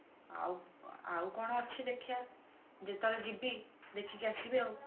ଆଉ ଆଉ କଣ ଅଛି ଦେଖିବା ଯେତେବେଳେ ଯିବୀ ଦେଖିକି ଆସିବି ଆଉ